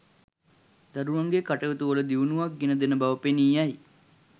දරුවන්ගේ කටයුතුවල දියුණුවක් ගෙන දෙන බව පෙනී යයි.